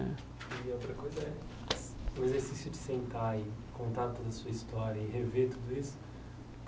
Né e a outra coisa é o exercício de sentar e contar toda a sua história e rever tudo isso.